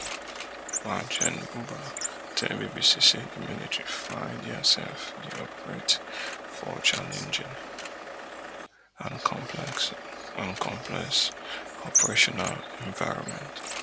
maj. gen. buba tell bbc say di military find diaself dey operate for challenging and complex and complex operational environment